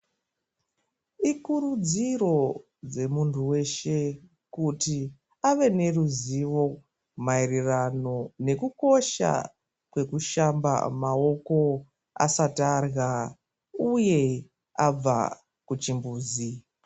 Ikuridziro dze muntu weshe kuti Ave neruzivi maererano nekukosha kwekushamba maoko asati arya uye abva kuchimbuzi.